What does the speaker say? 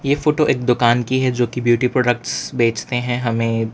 ये फोटो एक दुकान की है जो कि ब्यूटी प्रोडक्ट्स बेचते हैं हमें --